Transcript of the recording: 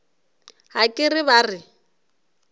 ga ke re ba re